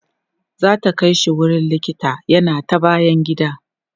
zata Kai shi wurin likita yana ta bayan gida